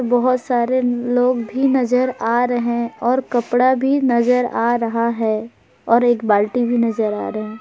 बहोत सारे लोग भी नजर आ रहे और कपड़ा भी नजर आ रहा है और एक बाल्टी भी नजर आ रहे हैं।